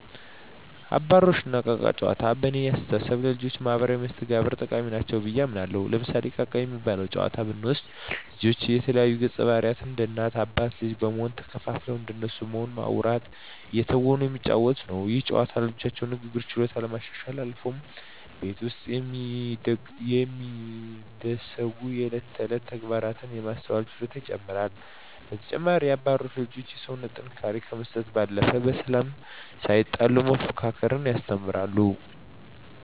አባሮሽ እና እቃ እቃ ጨዋታዎች በእኔ አስተሳሰብ ለልጆች ማህበራዊ መስተጋብር ጠቃሚ ናቸው ብየ አምናለሁ። ለምሳሌ እቃ እቃ የሚባለውን ጨዋታ ብንወስድ ልጆች የተለያዩ ገፀባህርይ እንደ እናት አባት ልጅ በመሆን ተከፋፍለው እንደነሱ በመሆን በማዉራት እየተወኑ የሚጫወቱት ነው። ይህ ጨዋታ የልጆቹን የንግግር ችሎታ ከማሻሻልም አልፎ ቤት ውስጥ የሚደሰጉ የእለት ተእለት ተግባራትን የማስተዋል ችሎታቸውን ይጨመራል። በተጨማሪም አባሮሽ ለልጆች የሰውነት ጥንካሬ ከመስጠት ባለፈ በሰላም ሳይጣሉ መፎካከርን ያስተምራል።